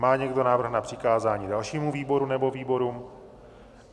Má někdo návrh na přikázání dalšímu výboru nebo výborům?